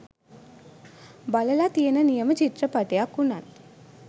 බලලා තියෙන නියම චිත්‍රපටියක් වුණත්